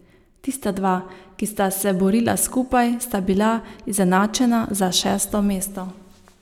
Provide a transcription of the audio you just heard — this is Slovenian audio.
Tista dva, ki sta se borila skupaj, sta bila izenačena za šesto mesto.